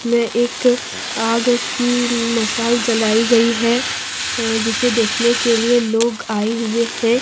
यह एक आग की मसाल जलाई गई है जिसे देखने के लिए लोग आए हुए हैं ।